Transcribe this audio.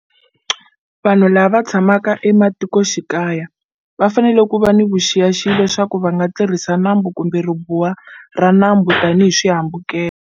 Vanhu lava tshamaka ematikoxikaya va fanele ku va ni vuxiyaxiya leswaku va nga tirhisi nambu kumbe ribuwa ra nambu tanihi swihambukelo.